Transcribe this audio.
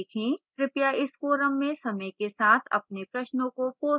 कृपया इस forum में समय के साथ अपने प्रश्नों को post करें